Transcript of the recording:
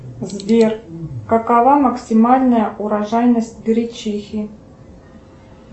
сбер какова максимальная урожайность гречихи